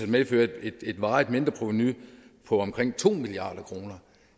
medføre et varigt mindreprovenu på omkring to milliard kroner